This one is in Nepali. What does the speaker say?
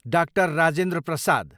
डा. राजेन्द्र प्रसाद